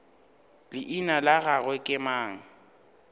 leina la gagwe ke mang